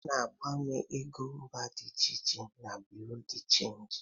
A na-agbanwe ego mba dị iche iche na bụreau de chanji.